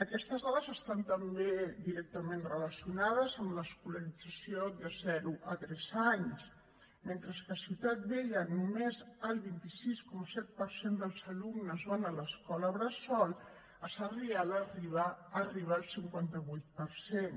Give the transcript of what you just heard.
aquestes dades estan també directament relacionades amb l’escolarització de zero a tres anys mentre que a ciutat vella només el vint sis coma set per cent dels alumnes van a l’escola bressol a sarrià arriben al cinquanta vuit per cent